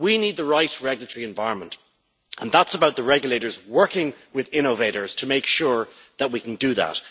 We need the right regulatory environment, and that is about the regulators working with innovators to make sure that we can do that.